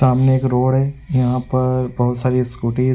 सामने एक रोड है यहाँ पर बहोत सारी स्कूटी --